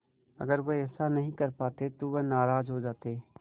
अगर वह ऐसा नहीं कर पाते तो वह नाराज़ हो जाते